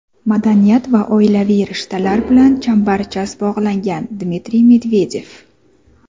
madaniyat va oilaviy rishtalar bilan chambarchas bog‘langan – Dmitriy Medvedev.